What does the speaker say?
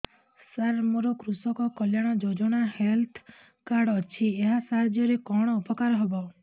ସାର ମୋର କୃଷକ କଲ୍ୟାଣ ଯୋଜନା ହେଲ୍ଥ କାର୍ଡ ଅଛି ଏହା ସାହାଯ୍ୟ ରେ କଣ ଉପକାର ହବ